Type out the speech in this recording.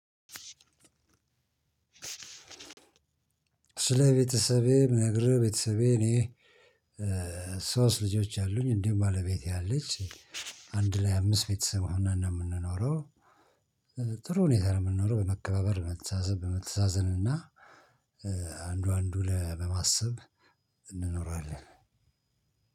ስለ ቤተሰቤ ምነግርህ ቤተሰቤ እኔ ሶስት ልጆች አሉኝ እንዲሁም ባለቤቴ አለች። አንድ ላይ አምስት ቤተሰብ ሆነን ነው የምንኖረው። ጥሩ ሁኔታ ነው የምንኖረው በመከባበር መተሳሰብ በመተሳዘን እና አንዱ አንዱ ለማሰብ እንኖራለን።